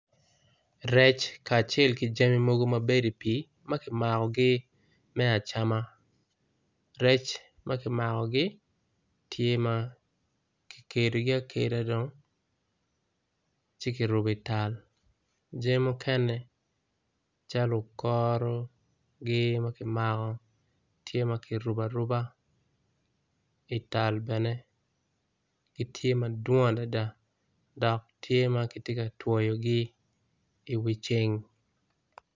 Rec kacel ki jami mogo mabedo i pi maki mako gi me acama rec makimagogi tye dong makikedogi akeda dong ci kiruko i tal jami mukene calo okoro gi makimako tye makirubo aruba, i tal bene gitye madwong adada dok tye magitye katwoyogi i wi ceng.